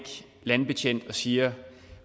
landbetjent og siger